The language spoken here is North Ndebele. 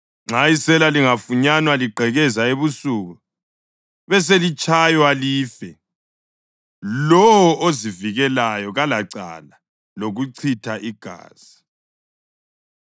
Nxa isela lingafunyanwa ligqekeza ebusuku beselitshaywa life, lowo ozivikelayo kalacala lokuchitha igazi,